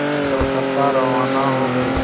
कर कलकत्ता रवाना हो गए